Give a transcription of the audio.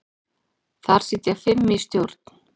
Þar sitja fimm í stjórn.